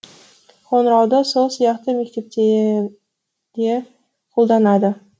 қоңырауды сол сияқты мектепте де қолданады